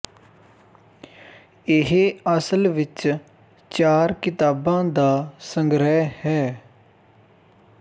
ਇਹ ਅਸਲ ਵਿੱਚ ਚਾਰ ਕਿਤਾਬਾਂ ਦਾ ਸੰਗ੍ਰਹਿ ਹੈ